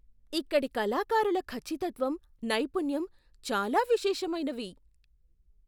ఇక్కడి కళాకారుల ఖచ్చితత్వం, నైపుణ్యం చాలా విశేషమైనవి.